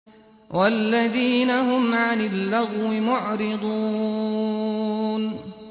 وَالَّذِينَ هُمْ عَنِ اللَّغْوِ مُعْرِضُونَ